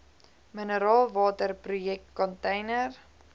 mineraalwater projek container